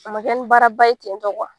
A man kɛ ni baara ba ye ten tɔ